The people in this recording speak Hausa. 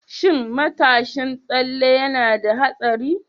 Shin matashin tsalle yana da haɗari?